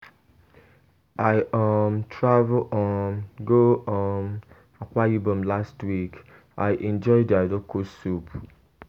I um travel um go um Akwa Ibom last week. I enjoy their local soup.